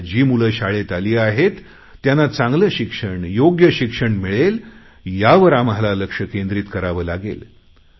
आता जी मुले शाळेल आली आहेत त्यांना चांगले शिक्षण योग्य शिक्षण मिळेल यावर आम्हाला लक्ष केंद्रीत करावं लागेल